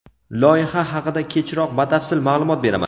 Loyiha haqida kechroq batafsil ma’lumot beraman.